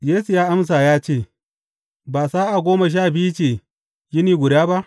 Yesu ya amsa ya ce, Ba sa’a goma sha biyu ce yini guda ba?